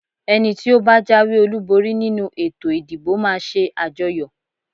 Ẹni tí ó bá jáwé-olúborí nínú ètò ìdìbò máa ṣe àjọyọ̀.